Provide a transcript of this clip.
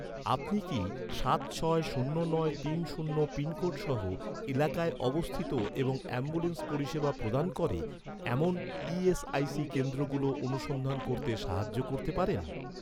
আপনি কি, সাত ছয় শূন্য নয় তিন শূন্য পিনকোড সহ, এলাকায় অবস্থিত এবং অ্যাম্বুলেন্স পরিষেবা প্রদান করে, এমন ই.এস.আই.সি কেন্দ্রগুলো অনুসন্ধান করতে সাহায্য করতে পারেন?